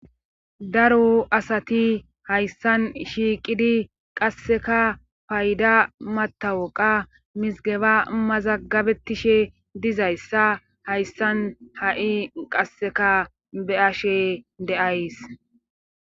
daro asati hayssan shiiqidi qasseka payda matawoqa mizigeba mazagabetishe dizayssa hayssan ha7i qasseka be ashe deays